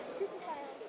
Sizin özünüz necə?